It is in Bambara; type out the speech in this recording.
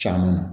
Caman na